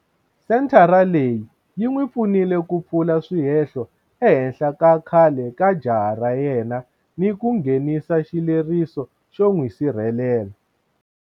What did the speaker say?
Senthara leyi yi n'wi pfunile ku pfula swihehlo ehenhla ka khale ka jaha ra yena ni ku nghenisa xileriso xo n'wi sirhelela.